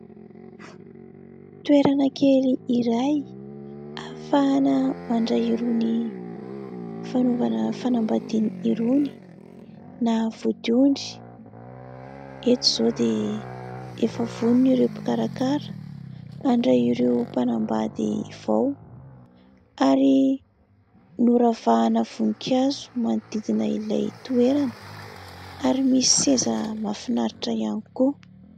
Toerana kely iray ahafahana mandray irony fanaovana fanambadiana irony na vodiondry. Eto izao dia efa vonona ireo mpikarakara handray ireo mpanambady vao, ary noravahana voninkazo manodidina ilay toerana ary misy seza mahafinaritra ihany koa.